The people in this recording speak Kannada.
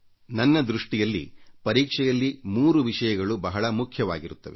ನನ್ನ ದೃಷ್ಟಿಯಲ್ಲಿ ಪರೀಕ್ಷೆಯಲ್ಲಿ 3 ವಿಷಯಗಳು ಬಹಳ ಮುಖ್ಯವಾಗಿರುತ್ತವೆ